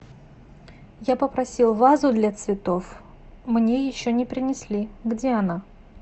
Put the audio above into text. я попросила вазу для цветов мне еще не принесли где она